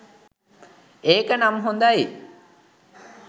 එක නම් හොදයි